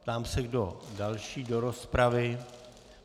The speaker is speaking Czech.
Ptám se, kdo další do rozpravy.